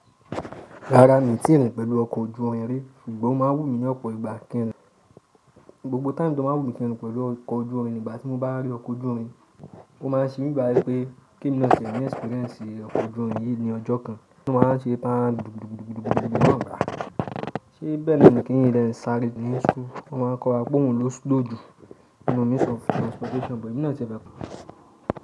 Rárá, mi ò tí ì rìn pẹ̀lú ọkọ̀ ojú irin rí, ṣùgbọ́n o máa wù mí ní ọ̀pọ̀ ìgbà kí n rìn. Gbogbo tim̀e to máa ń wù mí kí n rìn pẹ̀lú ọkọ̀ ojú irin, ìgbà tí mo bá rí ọkọ̀ ojú irin, ó máa ń ṣe mí bá ẹ pé kí n lọ sẹ̀ ní experience ọkọ̀ ojú irin yìí ní ọjọ́ kan. Kí n máa ń ṣe bá a dùgbodùgbodùgbodùgbò, ọkọ̀ ojú irin náà gbà. Ṣé bẹ́ẹ̀ ni kí n lè rìn sáré nínú sú? Wọ́n máa ń kọ́ wa gbóhùn lóṣù lóju, you know means of transportation, bẹ́ẹ̀ ni náà ti a fẹ́ kọ́.